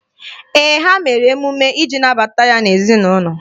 Ee, ha mere emume iji nabata ya n'ezinaụlọ.